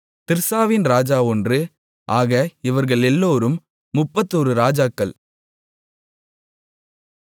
திர்சாவின் ராஜா ஒன்று ஆக இவர்களெல்லோரும் முப்பத்தொரு ராஜாக்கள்